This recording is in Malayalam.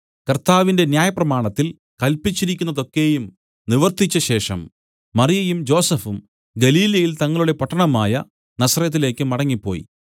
കർത്താവിന്റെ ന്യായപ്രമാണത്തിൽ കല്പിച്ചിരിക്കുന്നതൊക്കെയും നിവർത്തിച്ചശേഷം മറിയയും ജോസഫും ഗലീലയിൽ തങ്ങളുടെ പട്ടണമായ നസറെത്തിലേക്ക് മടങ്ങിപ്പോയി